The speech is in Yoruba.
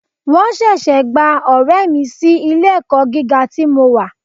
Wọ́n ṣẹ̀ṣẹ̀ gba ọ̀rẹ́ mi sí ilé ẹ̀kọ́ gíga tí mo wà.